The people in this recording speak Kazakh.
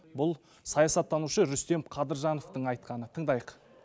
бұл саясаттанушы рүстем қадыржановтың айтқаны тыңдайық